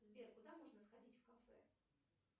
сбер куда можно сходить в кафе